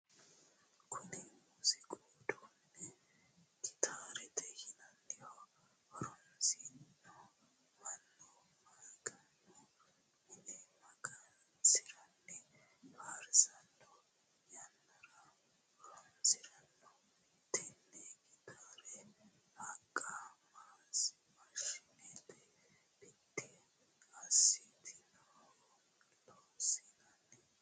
Kunni muuziiqu uduune gitaarete yinnanniho. Horosino mannu maganu mine magansiranni faarsano yannara horoonsirano. Tenne gitaare haqa maashine bidi asitinohuj loonsanni.